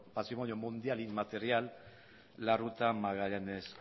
mundial y material la ruta magallanes